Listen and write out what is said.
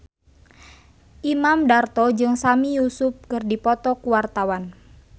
Imam Darto jeung Sami Yusuf keur dipoto ku wartawan